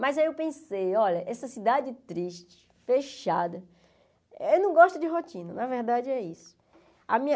Mas aí eu pensei, olha, essa cidade triste, fechada, eu não gosto de rotina, na verdade é isso.